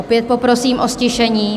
Opět poprosím o ztišení.